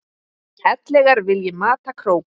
ellegar vilji mata krók.